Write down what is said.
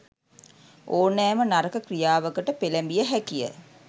ඕනෑම නරක ක්‍රියාවකට පෙළැඹිය හැකිය.